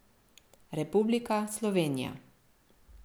Republika Slovenija.